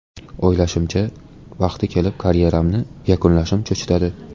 O‘ylashimcha, vaqti kelib karyeramni yakunlashim cho‘chitadi.